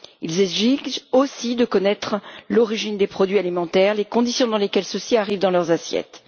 Ils exigent aussi de connaître l'origine des produits alimentaires et les conditions dans lesquelles ceux ci arrivent dans leurs assiettes.